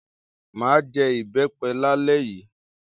M á jẹ ìbẹ́pẹ lálẹ́ yìí.